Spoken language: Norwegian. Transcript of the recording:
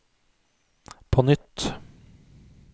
på nytt